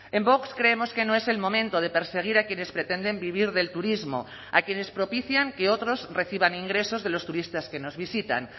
en vox creemos que no es el momento de perseguir a quienes pretenden vivir del turismo a quienes propician que otros reciban ingresos de los turistas que nos visitan